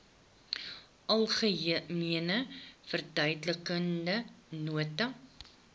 algemene verduidelikende nota